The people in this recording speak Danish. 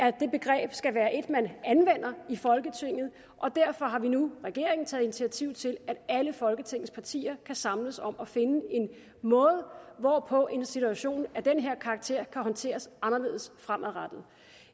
at det begreb skal være et man anvender i folketinget derfor har vi nu regeringen taget initiativ til at alle folketingets partier kan samles om at finde en måde hvorpå en situation af den her karakter kan håndteres anderledes fremadrettet